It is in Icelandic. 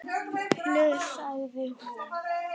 hugsaði hún.